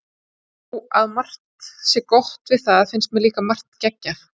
Þó að margt sé gott við það finnst mér líka margt geggjað.